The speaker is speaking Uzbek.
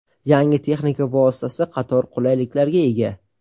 Yangi texnika vositasi qator qulayliklarga ega.